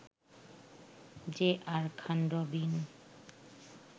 J R Khan Robin